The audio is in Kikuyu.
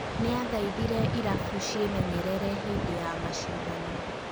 Nĩathaithire irabu ciemenyerere hĩndĩ ya mashindano